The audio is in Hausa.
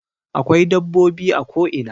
Akwai dabbobi a ko ina